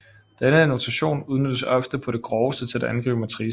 Denne notation udnyttes ofte på det groveste til at angive matricer